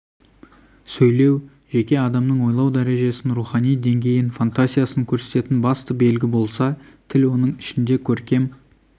сөйлеу жеке адамның ойлау дәрежесін рухани деңгейін фантазиясын көрсететін басты белгі болса тіл оның ішінде көркем